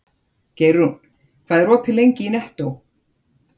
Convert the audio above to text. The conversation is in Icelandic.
Geirrún, hvað er opið lengi í Nettó?